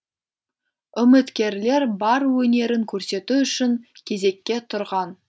үміткерлер бар өнерін көрсету үшін кезекке тұрған